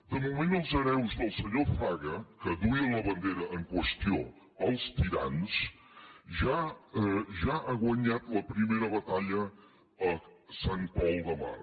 de moment els hereus del senyor fraga que duia la bandera en qüestió als tirans ja han guanyat la primera batalla a sant pol de mar